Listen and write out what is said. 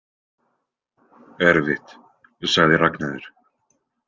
Erfitt, sagði Ragnheiður.